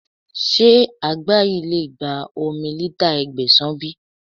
Ṣé àgbá yìí lè gba omi lítà Ẹgbẹ̀sàn bí?